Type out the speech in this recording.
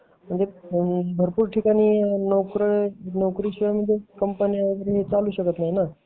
भरपूर ठिकाणी नोकरी शिवाय कंपन्या वगेरे चालू शकत नाही ना